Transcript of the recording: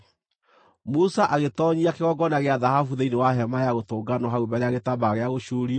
Musa agĩtoonyia kĩgongona gĩa thahabu thĩinĩ wa Hema-ya-Gũtũnganwo hau mbere ya gĩtambaya gĩa gũcuurio,